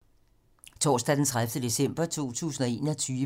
Torsdag d. 30. december 2021